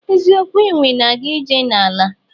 Eziokwu enwe na aga ije na ala.